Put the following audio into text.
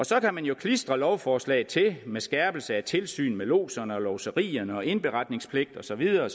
så kan man jo klistre lovforslaget til med skærpelse af tilsyn med lodserne og lodserierne og indberetningspligt og så videre